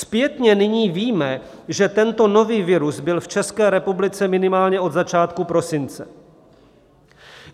Zpětně nyní víme, že tento nový virus byl v České republice minimálně od začátku prosince.